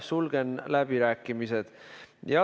Sulgen läbirääkimised.